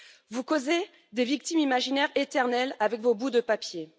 Vous causez des victimes imaginaires éternelles avec vos bouts de papier.